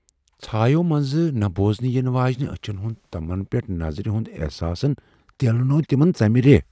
ژھاییو منزٕ نہٕ بوزنہٕ یِنہٕ واجنہِ أچھن ہُند تَمن پیٹھ نظرِ ہُند احساسن تیلنوو تِمن ژمہِ ریہہ ۔